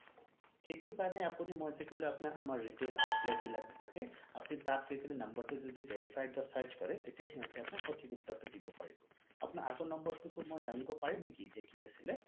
সেইটো কাৰণে আপুনি মই যে কলো আমাৰ retail outlet বিলাক যে থাকে আপুনি তাত গৈ পেলাই number টো যদি verified বা search কৰে তেতিয়া সিহঁতে আপোনাক সঠিক উত্তৰ টো দিব পাৰিব আপোনাৰ আগৰ number টো মই জানিব পাৰিম নেকি যে কি আছিলে